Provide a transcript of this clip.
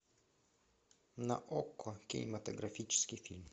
на окко кинематографический фильм